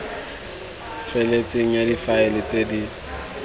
feletseng ya difaele tse di